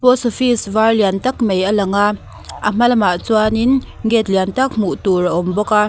post office var lian tak mai a lang a a hma lamah chuanin gate lian tak hmuh tur a awm bawk a.